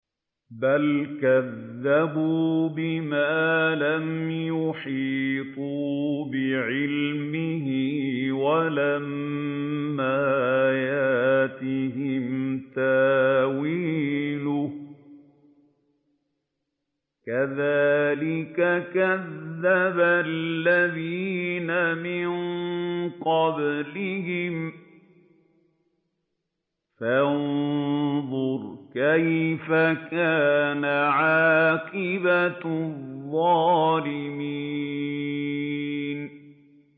بَلْ كَذَّبُوا بِمَا لَمْ يُحِيطُوا بِعِلْمِهِ وَلَمَّا يَأْتِهِمْ تَأْوِيلُهُ ۚ كَذَٰلِكَ كَذَّبَ الَّذِينَ مِن قَبْلِهِمْ ۖ فَانظُرْ كَيْفَ كَانَ عَاقِبَةُ الظَّالِمِينَ